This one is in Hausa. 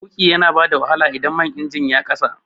Tuƙi yana bada wahala idan man injin ya kasa